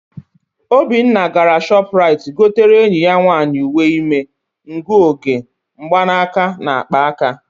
Obinna gara Shọpụraịt gotere enyi ya nwaanyị uwe ime, ngụoge mgbanaka na akpa aka.